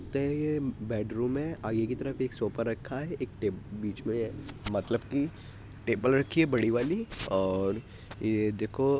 है ये बेडरूम है आगे की तरफ एक सोफ़ा रखा है एक टे बीच में मतलब की टेबल रखी है बड़ी वाली और ये देखो --